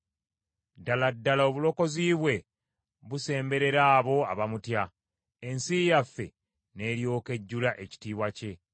Ddala ddala obulokozi bwe busemberera abo abamutya, ensi yaffe n’eryoka ejjula ekitiibwa kye.